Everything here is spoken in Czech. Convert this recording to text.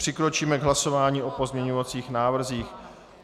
Přikročíme k hlasování o pozměňovacích návrzích.